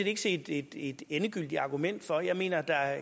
ikke se et et endegyldigt argument for jeg mener at der